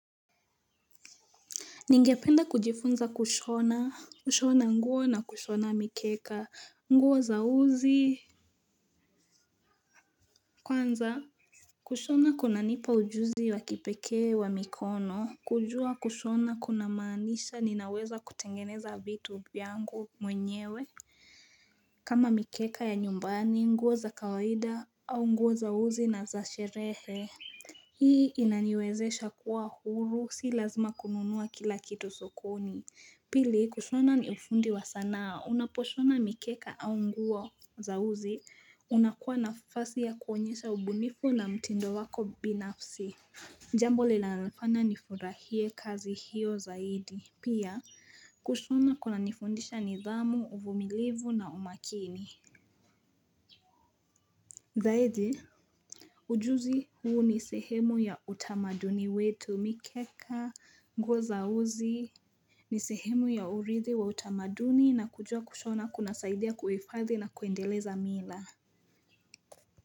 Ningependa kujifunza kushona, kushona nguo na kushona mikeka, nguo za uzi kwanza. Kushona kuna nipa ujuzi wa kipekee wa mikono. Kujua kushona kuna maanisha ninaweza kutengeneza vitu vyangu mwenyewe. Kama mikeka ya nyumbani, nguo za kawaida, au nguo za uzi na za sherehe. Hii inaniwezesha kuwa huru, sii lazima kununua kila kitu sokoni. Pili, kushona ni ufundi wa sanaa. Unaposhona mikeka au nguo za uzi. Unakuwa nafasi ya kuonyesha ubunifu na mtindo wako binafsi. Jambo linalofanya nifurahie kazi hiyo zaidi pia kushona kunanifundisha nidhamu uvumilivu na umakini. Zaidi, ujuzi huu ni sehemu ya utamaduni wetu, mikeka, nguo za uzi. Ni sehemu ya uridhi wa utamaduni na kujua kushona kuna saidia kuhifadhi na kuendeleza mila.